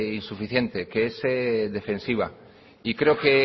insuficiente que es defensiva y creo que